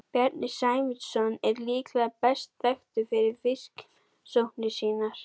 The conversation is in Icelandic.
Bjarni Sæmundsson er líklegar best þekktur fyrir fiskirannsóknir sínar.